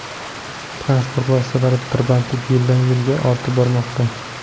Transport vositalari tirbandligi yildan-yilga ortib bormoqda.